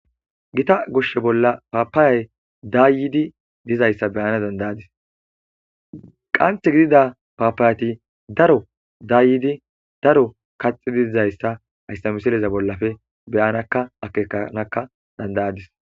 Gita goshe bolla papayai dayidi dizaysa beyadis qanxthi gida papayati daro dayidi daro kaxidi dizaysa haysa misileza bollape be'anakka akekkanakka dad'adis